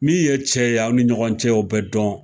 Min ye cɛ ye aw ni ɲɔgɔn cɛ, o bɛɛ dɔn.